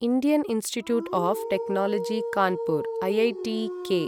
Indian Institute of Technology Kanpur आईआईटीकॆ